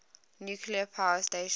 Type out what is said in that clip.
nuclear power station